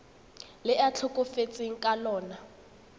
le a tlhokafetseng ka lona